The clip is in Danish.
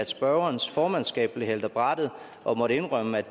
spørgerens formandskab blev hældt af brættet og måtte indrømme